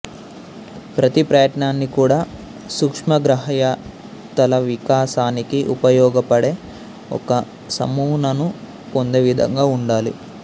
ప్రతి ప్రయత్నాన్ని కూడా సూక్ష్మగ్రాహ్యతల వికాసానికి ఉపయోగపడే ఒక నమూనాను పొందే విధంగా ఉండాలి